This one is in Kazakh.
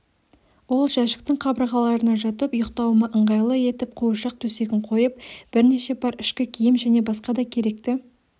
ол жәшіктің қабырғаларына жатып ұйықтауыма ыңғайлы етіп қуыршақ төсегін қойып бірнеше пар ішкі киім және басқа да керекті